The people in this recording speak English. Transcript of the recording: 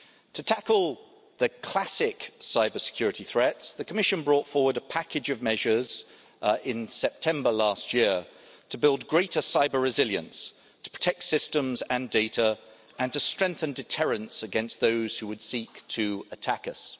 To tackle the classic cybersecurity threats, the Commission brought forward a package of measures in September last year to build greater cyber resilience, to protect systems and data and to strengthen deterrence against those who would seek to attack us.